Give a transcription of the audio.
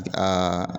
Aa